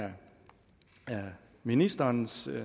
ministerens